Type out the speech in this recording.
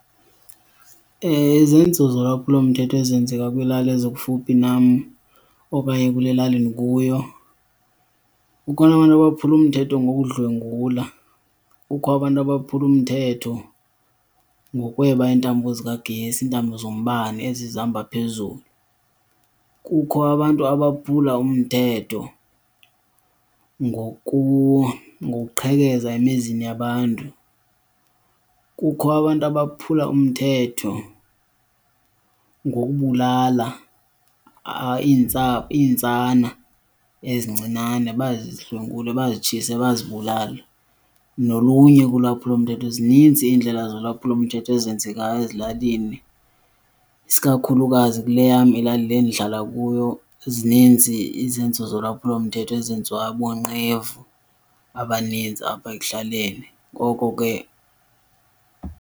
Izenzo zolwaphulo mthetho ezenzeka kwiilali ezikufuphi nam okanye kule lali ndikuyo, kukhona abantu abaphula umthetho ngokudlwengulwa, kukho abantu abaphula umthetho ngokweba iintambo zikagesi, iintambo zombane ezi zihamba phezulu. Kukho abantu abaphula umthetho ngokuqhekeza emizini yabantu, kukho abantu abaphula umthetho ngokubulala iintsana ezincinane bazidlwengulwe, bazitshise, bazibulale nolunye ke ulwaphulomthetho. Zininzi iindlela zolwaphulomthetho ezenzekayo ezilalini, isikakhulukazi kule yam ilali le ndihlala kuyo. Zininzi izenzo zolwaphulo mthetho ezenziwa boonqevu abaninzi apha ekuhlaleni ngoko ke.